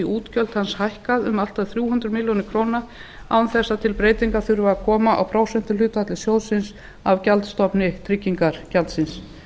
útgjöld hans hækkað um allt að þrjú hundruð milljóna króna án þess að til breytinga þurfi að koma á prósentuhlutfalli sjóðsins af gjaldstofni tryggingagjaldsins